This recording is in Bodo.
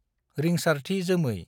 रिंसारथि जोमै